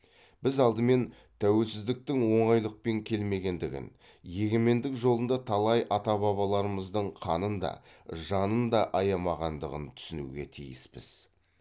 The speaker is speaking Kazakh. біз алдымен тәуелсіздіктің оңайлықпен келмегендігін егемендік жолында талай ата бабаларымыздың қанын да жанын да аямағандығын түсінуге тиіспіз